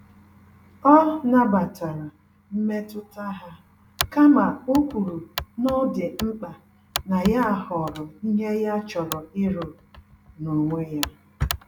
Ọ nabatara mmetụta ha, kama okwuru n'ọdị mkpa na ya họrọ ìhè ya chọrọ ịrụ, n'onwe ya